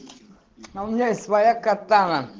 а у меня есть своя катана